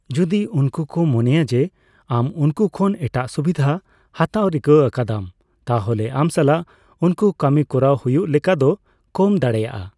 ᱡᱚᱫᱤ ᱩᱱᱠᱩ ᱠᱚ ᱢᱚᱱᱮᱭᱟᱜ ᱡᱮ, ᱟᱢ ᱩᱱᱠᱩ ᱠᱷᱚᱱ ᱮᱴᱟᱜ ᱥᱩᱵᱤᱫᱷᱟ ᱦᱟᱛᱟᱣ ᱨᱤᱠᱟᱹ ᱟᱠᱟᱫᱟᱢ, ᱛᱟᱦᱞᱮ ᱟᱢ ᱥᱟᱞᱟᱜ ᱩᱱᱠᱩ ᱠᱟᱹᱢᱤ ᱠᱚᱨᱟᱣ ᱦᱩᱭᱩᱜ ᱞᱮᱠᱟᱫᱚ ᱠᱚᱢ ᱫᱟᱲᱮᱭᱟᱜᱼᱟ ᱾